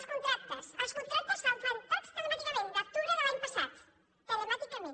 els contractes els contractes es fan tots telemàticament des d’octubre de l’any passat telemàticament